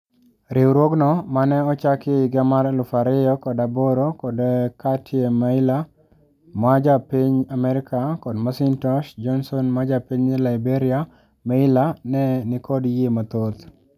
Riwruogno mane ochaki e higa mar elufu ariyo kod aboro kod katie mayler , majapiny Amerka kod Macintosh Johnson majapiny Liberia Meyler ne nikod yie mathoth.